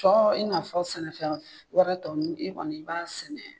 Cɔ i n'a fɔ sɛnɛfɛn wɛrɛ tɔ nun i kɔni i b'a sɛnɛ.